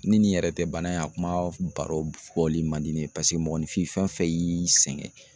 Ni nin yɛrɛ tɛ bana in a kuma baro bɔli man di ne ye paseke mɔgɔnifin fɛn fɛn y'i sɛgɛn